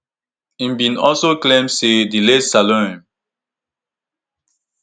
im bin also claim say di late salome